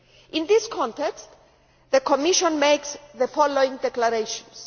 In this context, the Commission makes the following declarations.